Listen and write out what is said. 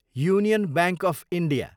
union Bank of India